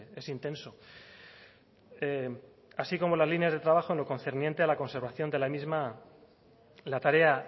es intenso así como las líneas de trabajo en lo concerniente a la conservación de la misma la tarea